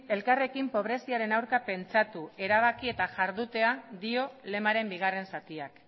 elkarrekin pobreziaren aurka pentsatu erabaki eta jardutea dio lemaren bigarren zatiak